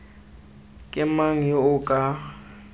ke mang yo o ka